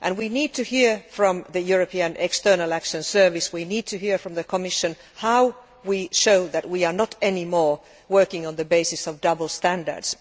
We need to hear from the European External Action Service, we need to hear from the Commission how we can show that we are no longer working on the basis of double standards.